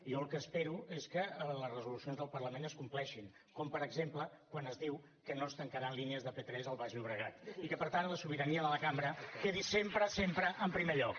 jo el que espero és que les resolucions del parlament es compleixin com per exemple quan es diu que no es tancaran línies de p3 al baix llobregat i que per tant la sobirania de la cambra quedi sempre sempre en primer lloc